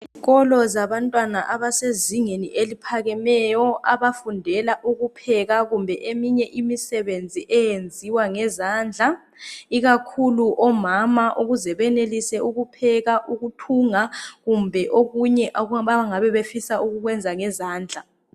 Izikolo zabantwana abasezingeni eliphakemeyo abafundela ukupheka kumbe eminye imisebenzi eyenziwa ngezandla ikakhulu omama ukuze benelise ukupheka ukuthunga kumbe okunye abangabe befisa ukukwenza ngezandla.